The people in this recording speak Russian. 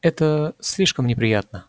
это слишком неприятно